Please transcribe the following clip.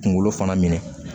Kunkolo fana minɛ